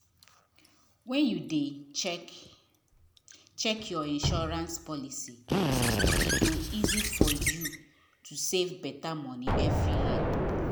when you dey um check check your insurance policy e go easy for you to save better money every year